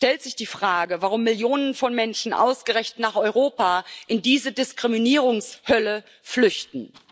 Es stellt sich die Frage, warum Millionen von Menschen ausgerechnet nach Europa in diese Diskriminierungshölle flüchten.